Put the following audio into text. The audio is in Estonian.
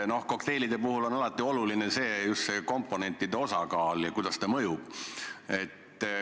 Kokteilide puhul on alati oluline just komponentide osakaal ja see, kuidas ta mõjub.